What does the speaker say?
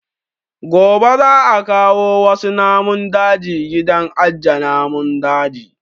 Gobe za a kawo wasu namun daji gidan aje namun daji